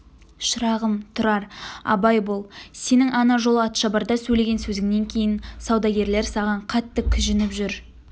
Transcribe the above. шырағым тұрар абай бол сенің ана жолы атшабарда сөйлеген сөзіңнен кейін саудагерлер саған қатты кіжініп жүр